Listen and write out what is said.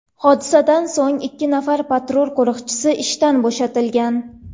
Hodisadan so‘ng ikki nafar patrul qo‘riqchisi ishdan bo‘shatilgan.